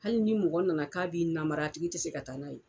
Hali ni mɔgɔ nana k'a b'i namara a tigi tɛ se ka taa n'a ye.